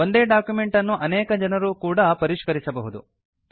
ಒಂದೇ ಡಾಕ್ಯುಮೆಂಟ್ ಅನ್ನು ಅನೇಕ ಜನರೂ ಕೂಡಾ ಪರಿಷ್ಕರಿಸಬಹುದು